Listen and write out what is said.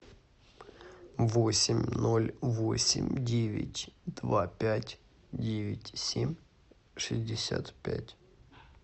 восемь ноль восемь девять два пять девять семь шестьдесят пять